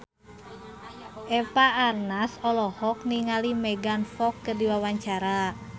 Eva Arnaz olohok ningali Megan Fox keur diwawancara